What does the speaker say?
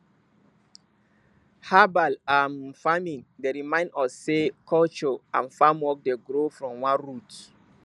herbal um farming dey remind us sey culture and farm work dey grow from one root